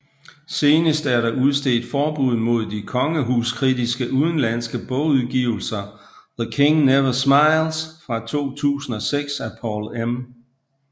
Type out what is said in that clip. Senest er der udstedt forbud mod de kongehus kritiske udenlandske bogudgivelser The King Never Smiles fra 2006 af Paul M